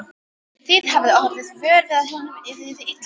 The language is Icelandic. Þið hafið ekki orðið vör við að honum liði illa?